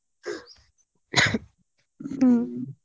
ಹ್ಮ್.